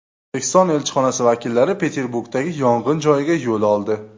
O‘zbekiston elchixonasi vakillari Peterburgdagi yong‘in joyiga yo‘l oldi .